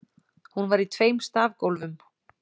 Hún var í tveim stafgólfum.